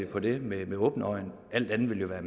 på det med åbne øjne alt andet ville jo være